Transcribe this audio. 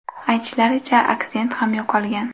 Aytishlaricha, aksent ham yo‘qolgan.